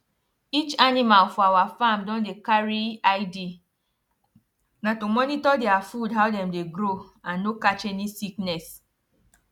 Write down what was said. each animal for our farm don dey carry id na to monitor dia food how dem dey grow and no catch any sickness